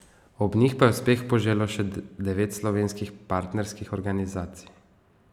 Ob njih pa je uspeh poželo še devet slovenskih partnerskih organizacij.